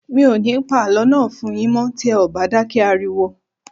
Mi ò ní pa àlọ́ náà fún n yín mọ́ tí ẹ ò bá dákẹ́ ariwo